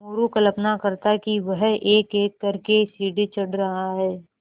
मोरू कल्पना करता कि वह एकएक कर के सीढ़ी चढ़ रहा है